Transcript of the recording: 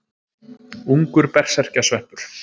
Ungur berserkjasveppur.